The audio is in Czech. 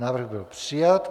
Návrh byl přijat.